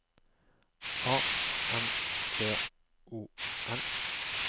A N T O N